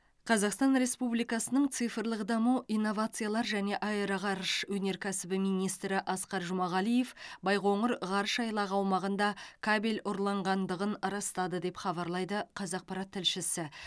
қазақстан республикасының цифрлық даму инновациялар және аэроғарыш өнеркәсібі министрі асқар жұмағалиев байқоңыр ғарыш айлағы аумағында кабель ұрланғандығын растады деп хабарлайды қазақпарат тілшісі